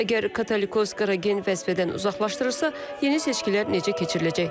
Əgər Katolikos Qaragen vəzifədən uzaqlaşdırılırsa, yeni seçkilər necə keçiriləcək?